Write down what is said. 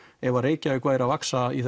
ef Reykjavík væri að vaxa í